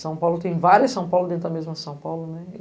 São Paulo tem várias São Paulo dentro da mesma São Paulo, né?